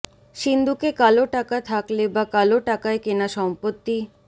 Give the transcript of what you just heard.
সিন্দুকে কালো টাকা থাকলে বা কালো টাকায় কেনা সম্পত্তি